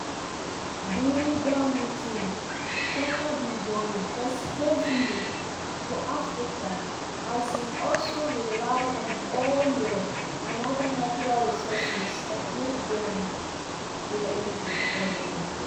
during dat meeting china bin dey invest heavily for africa as e also rely on oil and oda natural resources wey den dey di continent.